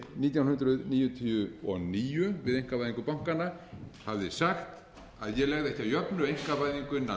nítján hundruð níutíu og níu við einkavæðingu bankanna hafði sagt að ég legði ekki að jöfnu einkavæðingu innan